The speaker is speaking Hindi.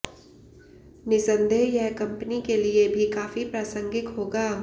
निस्संदेह यह कंपनी के लिए भी काफी प्रासंगिक होगा